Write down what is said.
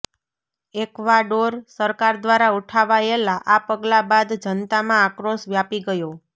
Ecuador સરકાર દ્વારા ઉઠાવાયેલા આ પગલા બાદ જનતામાં આક્રોશ વ્યાપી ગયો